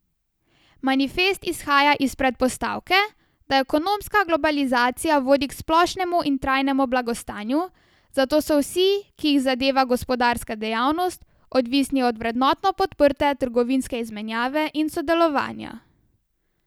Manifest izhaja iz predpostavke, da ekonomska globalizacija vodi k splošnemu in trajnemu blagostanju, zato so vsi, ki jih zadeva gospodarska dejavnost, odvisni od vrednotno podprte trgovinske izmenjave in sodelovanja.